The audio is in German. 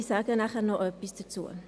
Ich sage nachher noch etwas dazu.